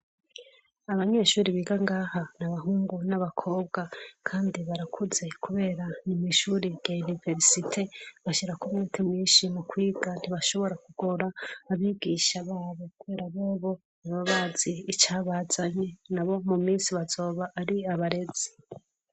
Abanyeshure biga ngaha nabahungu nabakobwa Kandi barakuze, kubera nimwishure rya iniverisite .Bashirako umwete mwinshi mukwiga ntibashobora kugora abigisha babo kubera bobo babazi icabazanye nabo mu minsi azoba Ari abarezi.